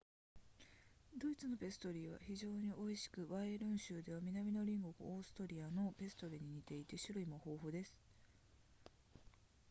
ドイツのペストリーは非常に美味しくバイエルン州では南の隣国オーストリアのペストリーに似ていて種類も豊富です